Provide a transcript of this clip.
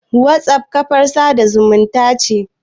WhatsApp kafar sada zumunta ce.